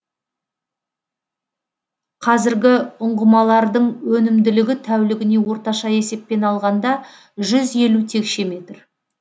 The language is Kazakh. қазіргі ұңғымалардың өнімділігі тәулігіне орташа есеппен алғанда жүз елу текше метр